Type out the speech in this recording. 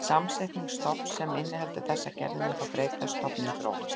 Samsetning stofns sem inniheldur þessar gerðir mun því breytast, stofninn þróast.